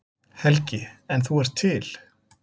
Helgi: En þú ert til?